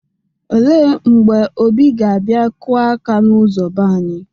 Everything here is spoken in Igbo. Ele mgbe Obi ga-abia kụa aka n'ụzo be anyị?